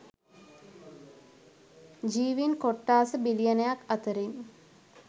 ජීවීන් කොට්ඨාස බිලියනයක් අතරින්